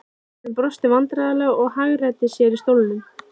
Maðurinn brosti vandræðalega og hagræddi sér í stólnum.